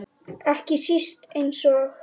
Ekki síst eins og